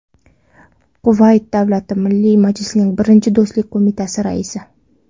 Quvayt Davlati Milliy majlisining Birinchi Do‘stlik qo‘mitasi raisi.